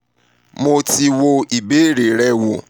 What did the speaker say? mo ti wo ìbéèrè rẹ wo